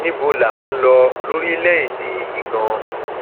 níbo là ń lọ lórílẹèdè yìí ganan